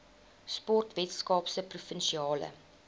sport weskaapse provinsiale